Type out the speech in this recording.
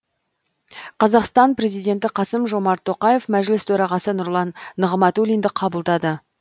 қазақстан президенті қасым жомарт тоқаев мәжіліс төрағасы нұрлан нығматулинді қабылдады